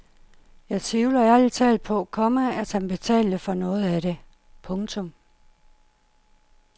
Jeg tvivler ærlig talt på, komma at han betalte for noget af det. punktum